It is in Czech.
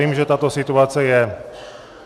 Vím, že tato situace je...